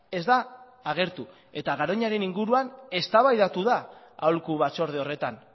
ez da agertu eta garoñaren inguruan eztabaidatu da aholku batzorde horretan